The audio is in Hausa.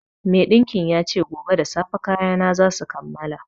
Maiɗinkin ya ce gobe da safe kayana za su kammala